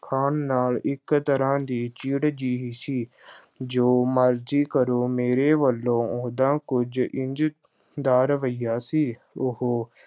ਖਾਣ ਨਾਲ ਇੱਕ ਤਰ੍ਹਾਂ ਦੀ ਚਿੜ੍ਹ ਜਿਹੀ ਸੀ ਜੋ ਮਰਜ਼ੀ ਕਰੋ ਮੇਰੀ ਵੱਲੋਂ ਉਹਦਾ ਕੁਝ ਇੰਜ ਦਾ ਰਵੱਈਆ ਸੀ, ਉਹ